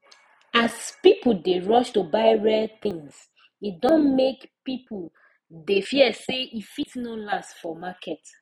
as people dey rush to buy rare things e don make people dey fear say e fit no last for market